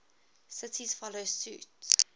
cities follow suit